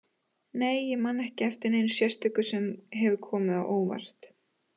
Nei ég man ekki eftir neinu sérstöku sem hefur komið á óvart.